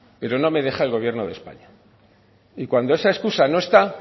pero no me deja el gobierno de españa y cuando esa excusa no está